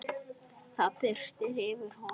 Það birti yfir honum.